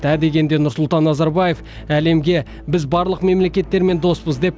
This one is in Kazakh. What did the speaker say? ә дегенде нұрсұлтан назарбаев әлемге біз барлық мемлекеттермен доспыз деп